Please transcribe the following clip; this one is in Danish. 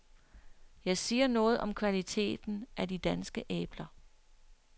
Jeg siger noget om kvaliteten af de danske æbler.